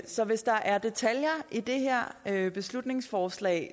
så hvis der er detaljer i det her beslutningsforslag